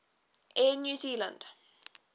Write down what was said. air new zealand